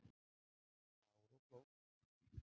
Klár og klók